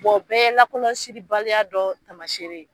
o bɛɛ ye lakɔlɔsili baliya dɔ taamasere ye.